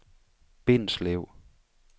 Bindslev